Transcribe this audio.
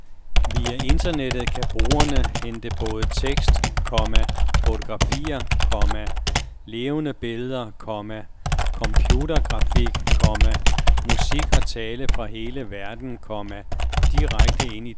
Via internettet kan brugerne hente både tekst, komma fotografier, komma levende billeder, komma computergrafik, komma musik og tale fra hele verden, komma direkte ind i dagligstuen. punktum